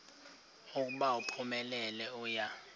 ukuba uphumelele uya